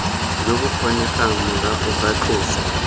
jo bokgonegang morago ga tloso